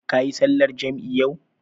Kayi sallar jam'i yau?